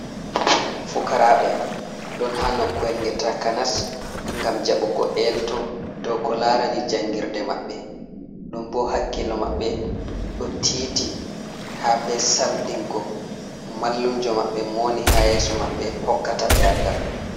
Fukaraɓe ɗon ha nukkuyel nge takanas ngam jaɓugo elto dow ko larani jangirde maɓɓe. Ɗum bo hakkilo maɓɓe do tiiti ha be samdingo mallunjo mabɓe mowoni ha yeso maɓɓe hokkata ɓe andal.